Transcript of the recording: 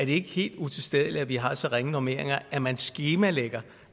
ikke helt utilstedeligt at vi har så ringe normeringer at man skemalægger